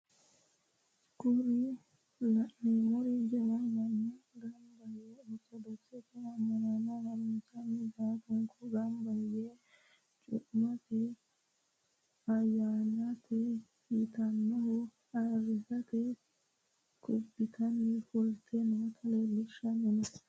Kuri la'neemori jawu manni gamba yee ortodokisete amma'no harunsaano ballunku gamba yite cu"ammete ayyanaati yitannoha ayirisate kubbitayi fulte noota leellishanno.